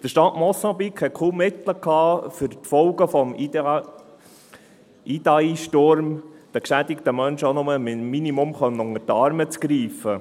Der Staat Mosambik hatte kaum Mittel, um den geschädigten Menschen wegen der Folgen des Sturmes Idai auch nur minimal unter die Arme zu greifen.